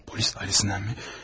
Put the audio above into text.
Polis idarəsindən?